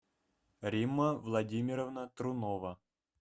римма владимировна трунова